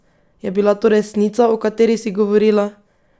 Je bila to resnica, o kateri si govorila?